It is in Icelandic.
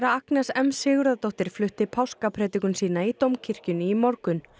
Agnes m Sigurðardóttir flutti páskapredikun sína í Dómkirkjunni í morgun